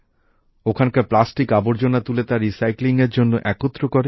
ওখানকার প্লাস্টিক আবর্জনা তুলে তা পুনর্ব্যবহারের জন্য জড়ো করে